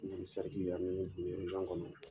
N ye nin bi kɔnɔ.